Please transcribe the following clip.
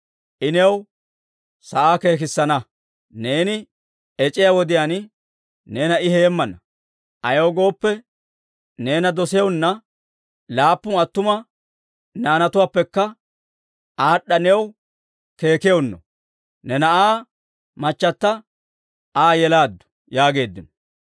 I new sa'aa keekissana; neeni ec'iyaa wodiyaan neena I heemmana. Ayaw gooppe, neena dosiyaanna, laappun attuma naanaappekka aad'd'a new keekiyaanno, ne na'aa machchata Aa yelaaddu» yaageeddino.